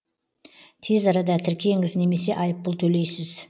тез арада тіркеңіз немесе айыппұл төлейсіз